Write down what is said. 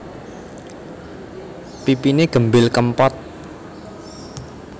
Pipiné gembil kempot